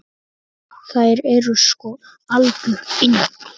Þær eru sko algjör yndi.